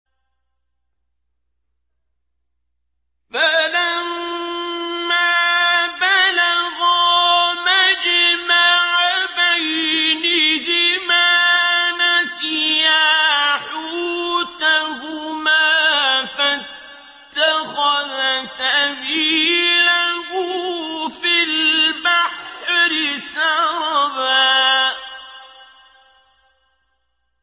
فَلَمَّا بَلَغَا مَجْمَعَ بَيْنِهِمَا نَسِيَا حُوتَهُمَا فَاتَّخَذَ سَبِيلَهُ فِي الْبَحْرِ سَرَبًا